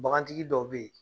Bagantigi dɔw bɛ yen